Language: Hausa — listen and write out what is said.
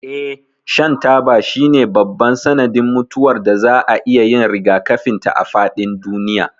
Eh, shan taba shine babban sanadin mutuwar da za a iya yin rigakafin ta a faɗin duniya.